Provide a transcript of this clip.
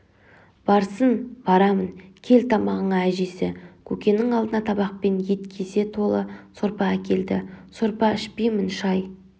барсын барамын кел тамағыңа әжесі көкеннің алдына табақпен ет кесе толы сорпа әкелді сорпа ішпеймін шай